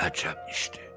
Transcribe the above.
Əcəb işdir.